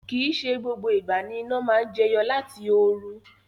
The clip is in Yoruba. Kii se gbogbo igba ni ina maa n jeyo lati oru